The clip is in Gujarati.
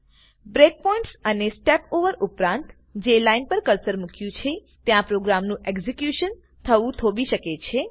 બ્રેકપોઇન્ટ્સ અને સ્ટીપઓવર્સ ઉપરાંત જે લાઈન પર કર્સર મુક્યું છે ત્યાં પ્રોગ્રામનું એક્ઝેક્યુશન થવું થોભી શકે છે